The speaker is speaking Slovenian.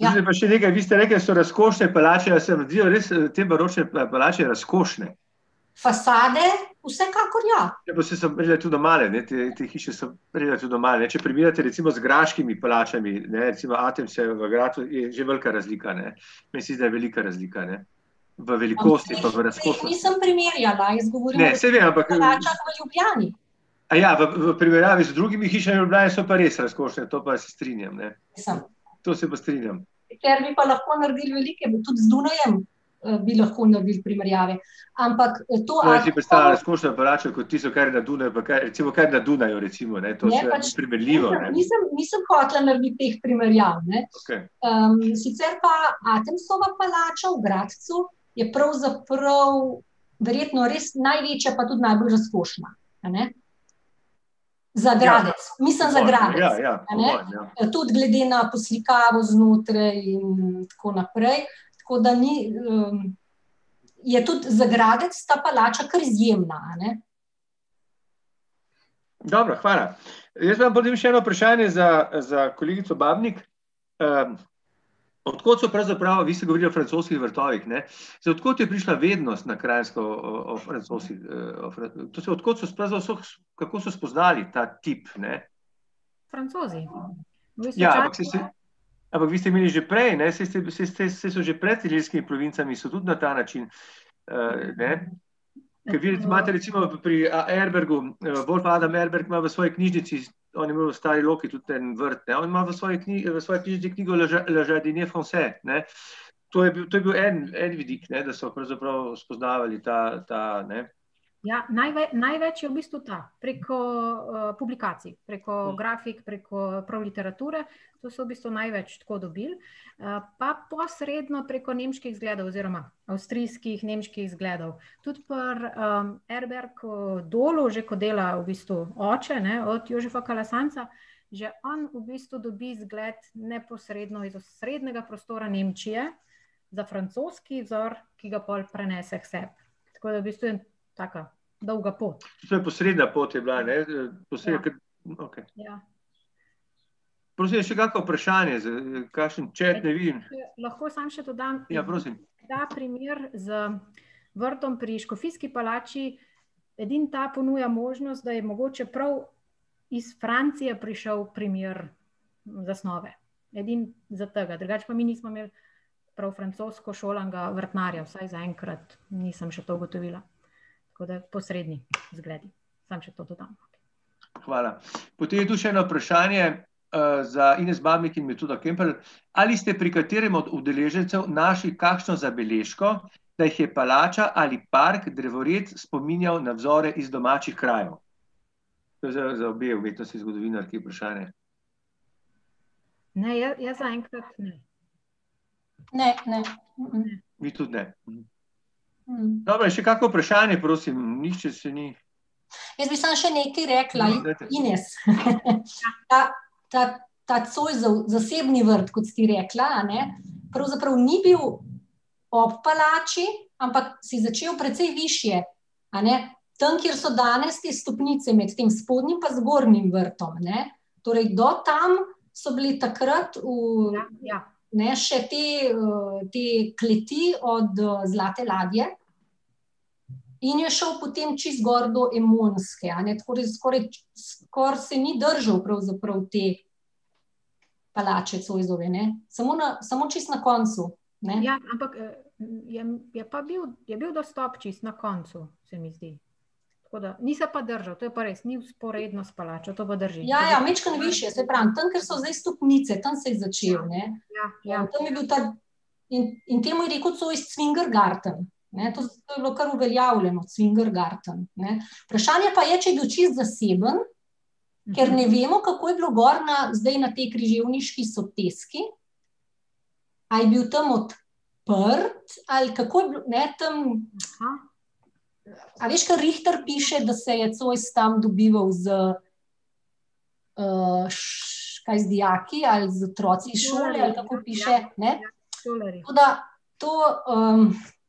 Ja, ja, o svoji piše zelo ... Tukaj pa še nekaj, vi ste rekli, da so razkošne palače, a se vam zdijo res te baročne palače razkošne? Fasade vsekakor, ja. Ja, pa saj so relativno male, ne, te hiše so relativno male, če primerjate recimo z graškimi palačami, ne, recimo v Gradcu, ne, je že velika razlika, ne. Meni se zdi, da je velika razlika, ne. V velikosti pa v razkošnosti. Ne, saj vem, ampak ... Teh, teh nisem primerjala, jaz govorim o palačah v Ljubljani. v primerjavi z drugimi hišami Ljubljane so pa res razkošne, to pa se strinjam, ne. To se pa strinjam. Sicer bi pa lahko naredili velike, tudi z Dunajem, bi lahko naredil primerjave. Ampak to ali pa ... Je pač ... Nisem, nisem hotela narediti teh primerjav, a ne, Jaz si predstavljam razkošno palačo kot tisto, kar je na Dunaju, pa kaj je na Dunaju recimo, a je to primerljivo ali ne ... Okej. sicer pa Atomsova palača v Gradcu je pravzaprav verjetno res največja pa tudi najbolj razkošna, a ne. Za Gradec. Mislim za Gradec, a ne. Ja. Po moje, ja, ja. Po moje, ja. tudi glede na poslikavo znotraj in tako naprej, tako da ni, ... Je tudi za Gradec ta palača kar izjemna, a ne. Dobro, hvala. Jaz imam potem še eno vprašanje za, za kolegico Babnik, od kod so pravzaprav, vi ste govorili o francoskih vrtovih, ne, zdaj, od kod je prišla vednost na Kranjsko, o to se kako so spoznali ta tip, ne? Francozi. Ampak vi ste imeli že prej, ne, saj ste, saj ste, saj so že pred ilirskimi provincami so tudi na ta način, ne ... Vi imate recimo pri Erbergu, grof Adam Erberg ima v svoji knjižnici, on je imel v Stari Loki tudi en vrt, ne, on ima v svoji svoji knjižnici knjigo Le Le jardinier français, ne. To je bil, to je bil en, en vidik, ne, da so pravzaprav spoznavali ta, ta, ne. Ja, največ je v bistvu ta, preko, publikacij, preko grafik, preko prav literature, to so v bistvu največ tako dobili, pa posredno preko nemških zgledov oziroma avstrijskih nemških zgledov. Tudi pri, ... Erberg v Dolu, že ko dela v bistvu oče, ne, od Jožefa Kalasanca, že on v bistvu dobi zgled neposredno iz osrednjega prostora Nemčije, za francoski vzor, ki ga pol prenese k sebi. Tako da v bistvu taka dolga pot. Še posredna pot je bila, ne, kar ... Okej. Ja. Prosim, je še kako vprašanje, kakšen chat ne vidim. lahko samo še dodam ... Ja, prosim. Ta primer z vrtom pri Škofijski palači, edino ta ponuja možnost, da je mogoče prav iz Francije prišel primer zasnove. Edino za tega, drugače pa mi nismo imeli prav francosko šolanega vrtnarja, vsaj zaenkrat nisem še to ugotovila, tako da posredni zgledi. Samo še to dodam. Hvala. Potem je tu še eno vprašanje, za Ines Babnik in Metoda Kemperle, ali ste pri katerem od udeležencev našli kakšno zabeležko, da jih je palača ali park, drevored spominjal na vzore iz domačih krajev? To je za obe umetnostni zgodovinarki vprašanje. Ne, jaz zaenkrat ne. Ne, ne, Vi tudi ne? Dobro, je še kako vprašanje, prosim, nihče se ni ... Jaz bi samo še nekaj rekla, Ines, , ta, ta Zoisov, zasebni vrt, kot si ti rekla, a ne, pravzaprav ni bil ob palači, ampak se je začel precej višje, a ne. Tam, kjer so danes te stopnice med tem spodnjim pa zgornjim vrtom, ne. Torej do tam so bili takrat v ... Ja, ja. Ne, še te, te kleti od, Zlate ladje in je šel potem čisto gor do Emonske, a ne, tako da je skoraj, skoraj se ni držal pravzaprav te palače Zoisove, ne, samo na, samo čisto na koncu, ne. Ja, ampak, je, je pa bil, je bil dostop čisto na koncu, se mi zdi. Tako da ... Ni se pa držal to, je pa res, ni vzporedno s palačo, to pa drži. Ja, ja, majčkeno višje, saj pravim, tam, kjer so zdaj stopnice, tam se je začel, ne. Ja, ja. Tam je bil ta ... In, in temu je rekel Zois Cvingergarten, ne, to to je bilo kar uveljavljeno, Cvingergarten, ne, vprašanje pa je, če je bil čisto zaseben, ker ne vemo, kako je bilo gor na, zdaj na tej Križevniški soteski. A je bil tam odprt ali kako je ne, tam ... A veš, kar Richter piše, da se je Zois tam dobival z, kaj, z dijaki ali z otroki iz šole, ali kako piše, ne ... Ja, šolarji. Tako da to,